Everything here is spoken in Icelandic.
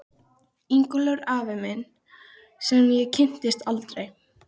Ingólfur afi minn sem ég kynntist aldrei.